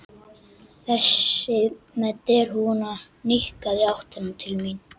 Þessi með derhúfuna nikkaði í áttina til mín.